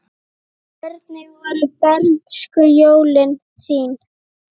Hvernig voru bernskujólin þín?